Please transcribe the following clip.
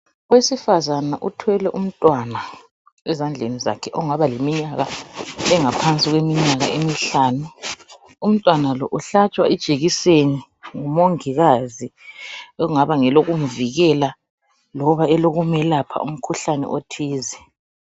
Owesifazana uthwele umntwana ezandleni zakhe ongaba leminyaka engaphansi kweminyaka emihlanu. Umntwanalo uhlatshwa ijekiseni ngumongikazi elingaba ngelokumvikela loba elokumelapha umkhuhlane othize.